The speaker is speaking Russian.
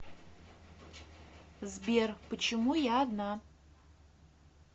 сбер почему я одна